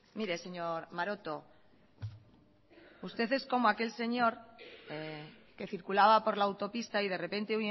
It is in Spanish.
mire señor maroto usted es como aquel señor que circulaba por la autopista y de repente